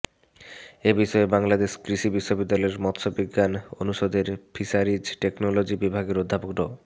এ বিষয়ে বাংলাদেশ কৃষি বিশ্ববিদ্যালয়ের মাৎস্যবিজ্ঞান অনুষদের ফিশারিজ টেকনোলজি বিভাগের অধ্যাপক ড